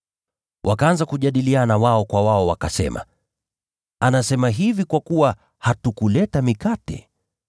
Wakajadiliana wao kwa wao, na kusema, “Anasema hivi kwa sababu hatukuleta mikate.”